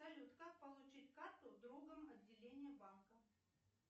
салют как получить карту в другом отделении банка